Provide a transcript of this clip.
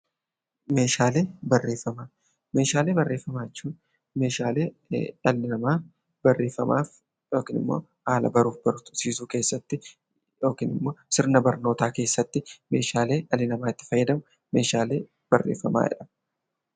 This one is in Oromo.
Meeshaalee barreeffamaa jechuun meeshaalee dhalli namaa barreeffamaaf yookiin immoo haala baruu fi barsiisuu keessatti yookaan immoo sirna barnootaa keessatti meeshaalee dhalli namaa itti fayyadamu meeshaalee barreeffamaa jedhama